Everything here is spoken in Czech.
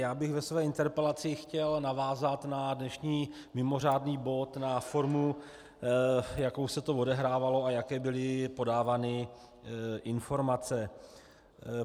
Já bych ve své interpelaci chtěl navázat na dnešní mimořádný bod, na formu, jakou se to odehrávalo, a jaké byly podávány informace.